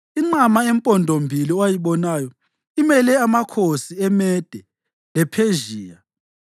Inqama empondombili owayibonayo imele amakhosi eMede lePhezhiya.